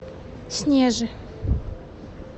снежи